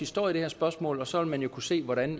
står i det her spørgsmål og så vil man kunne se hvordan